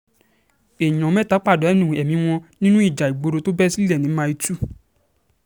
èèyàn mẹ́ta pàdánù ẹ̀mí wọn nínú ìjà ìgboro tó bẹ́ sílẹ̀ ní mile two